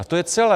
A to je celé.